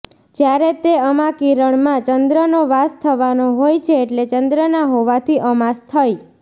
જ્યારે તે અમા કિરણમાં ચંદ્રનો વાસ થવાનો હોય છે એટલે ચંદ્રના હોવાથી અમાસ થઇ